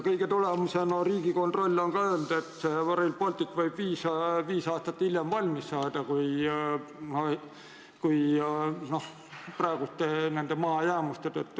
Kõige selle tulemusena on Riigikontroll öelnud, et Rail Baltic võib praeguse mahajäämuse tõttu valmis saada viis aastat hiljem.